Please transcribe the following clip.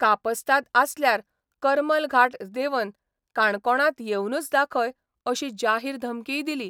कापस्ताद आसल्यार करमल घाट देंवन काणकोणांत येवनूच दाखय अशी जाहीर धमकीय दिली.